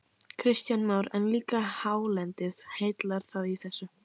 Kristján Már: En líka hálendið, heillar það í þessu?